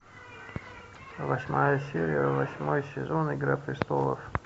восьмая серия восьмой сезон игра престолов